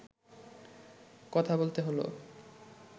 কথা বলতে হলো